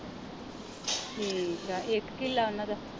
ਠੀਕ ਆ ਇਕ ਕਿਲਾ ਓਹਨਾ ਦਾ